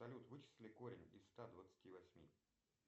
салют вычисли корень из ста двадцати восьми